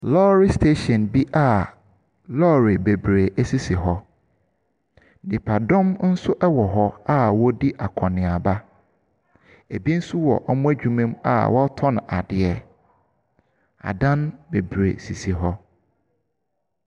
Lɔɔre steehyin bi a lɔɔre sisi hɔ, nnipadɔm nso wɔ hɔ a wɔredi akɔneaba. Ebi nso wɔ wɔn adwuma mu a wɔtɔn adeɛ. Adan bebree sisi hɔ.